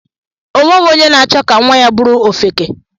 Onweghi onye na achọ ka nwa ya bụrụ ofeke